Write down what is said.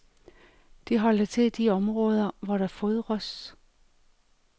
De holder til i de områder, hvor der fodres.